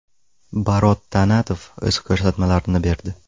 Barot Tanatov o‘z ko‘rsatmalarini berdi.